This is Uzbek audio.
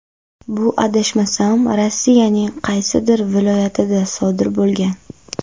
Bu adashmasam Rossiyaning qaysidir viloyatida sodir bo‘lgan.